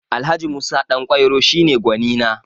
Alh. Musa Ɗanƙwairo shi ne gwanina